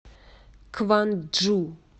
кванджу